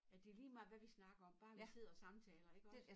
At det ligemeget hvad vi snakker om bare vi sidder og samtaler iggås?